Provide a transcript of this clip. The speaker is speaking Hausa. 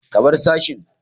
Ka bar sashin!